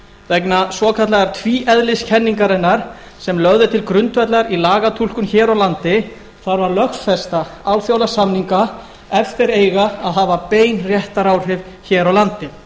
vegna svokallaðrar tvíeðliskenningar sem lögð er til grundvallar í lagatúlkun hér á landi þarf að lögfesta alþjóðasamninga ef þeir eiga að hafa bein réttaráhrif hér á landi